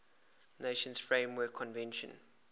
nations framework convention